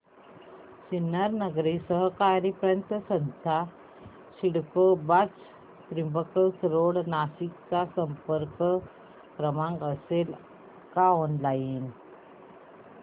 सिन्नर नागरी सहकारी पतसंस्था CIDCO branch Trimbak road Nashik चा संपर्क क्रमांक असेल का ऑनलाइन